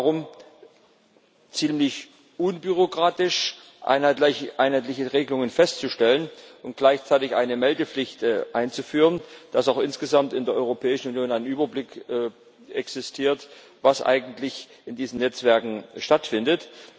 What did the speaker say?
Es geht darum, ziemlich unbürokratisch einheitliche Regelungen festzustellen und gleichzeitig eine Meldepflicht einzuführen, damit auch insgesamt in der Europäischen Union ein Überblick darüber existiert, was eigentlich in diesen Netzwerken stattfindet.